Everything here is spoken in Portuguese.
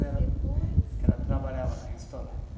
Ela, e depois, ela trabalhava no restaurante